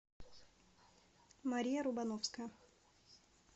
мария рубановская